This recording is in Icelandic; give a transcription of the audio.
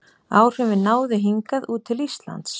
Áhrifin náðu hingað út til Íslands.